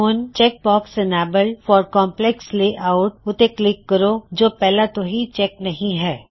ਹੁਣ check box enabled for complex text layout ਉਤੇ click ਕਰੋ ਜੇ ਓਹ ਪਹਿਲਾ ਤੋ ਹੀ ਚੈਕ ਨਹੀ ਹੈ